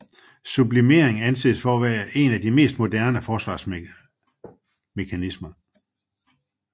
Sublimering anses for en af de mest modne forsvarsmekanismer